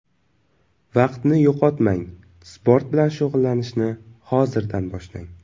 Vaqtni yo‘qotmang, sport bilan shug‘ullanishni hozirdan boshlang.